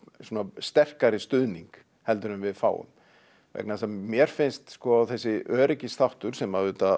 sterkari stuðning heldur en við fáum vegna þess að mér finnst þessi öryggisþáttur sem að auðvitað